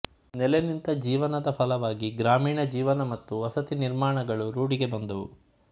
ನೆಲೆನಿಂತ ಜೀವನದ ಫಲವಾಗಿ ಗ್ರಾಮೀಣ ಜೀವನ ಮತ್ತು ವಸತಿ ನಿರ್ಮಾಣಗಳು ರೂಢಿಗೆ ಬಂದುವು